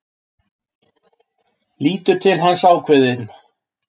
Lítur til hans, ákveðin.